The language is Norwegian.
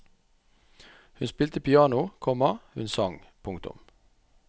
Hun spilte piano, komma hun sang. punktum